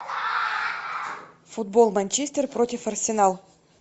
футбол манчестер против арсенал